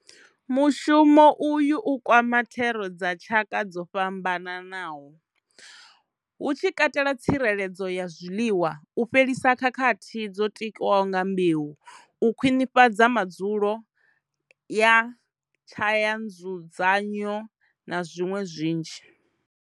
Mushumo uyu u kwama thero dza tshaka dzo fhambanaho, hu tshi katela tsireledzo ya zwiḽiwa, u fhelisa khakhathi dzo tikiwaho nga mbeu, u khwiṋifhadza madzulo a tshayanzudzanywa na zwiṅwe zwinzhi.